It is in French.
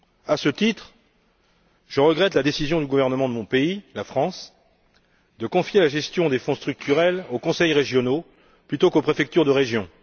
À ce titre, je regrette la décision du gouvernement de mon pays la France de confier la gestion des Fonds structurels aux conseils régionaux plutôt qu'aux préfectures de régions.